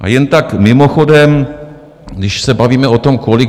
A jen tak mimochodem, když se bavíme o tom, kolik...